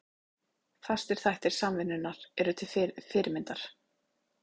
Fastir þættir Samvinnunnar eru til fyrirmyndar.